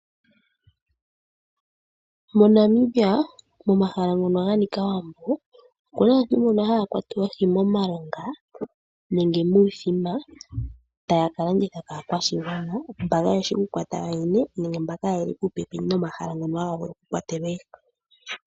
MoNamibia, mo mahala ngono ga nika owambo, okuna aantu mbono haya kwata oohi mo milonga nenge muuthima, taya kala nditha kaa kwashigwana mba kaa yeshi oku kwata yo yene nenge mba kaa yeli po pepi no ma hala ngono ha ga vulu oku kwatelwa oohi.